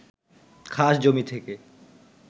খাস জমি থেকে